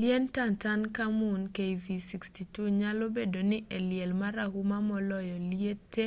liend tutankhamun kv62. kv62 nyalo bedo ni e liel marahuma moloyo liete